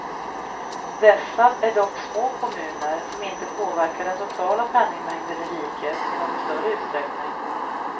Dessa är dock små kommuner som inte påverkar den totala penningmängden i riket i någon större utsträckning.